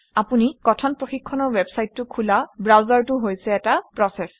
আপুনি কথন প্ৰশিক্ষণৰ ৱেবচাইটটো খোলা ব্ৰাউজাৰটো হৈছে এটা প্ৰচেচ